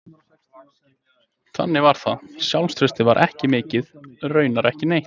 Þannig var það, sjálfstraustið var ekki mikið, raunar ekki neitt.